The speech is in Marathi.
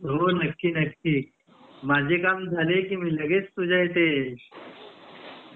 हो नक्की नक्की माझे काम झाले की लगेच तुझ्या इथे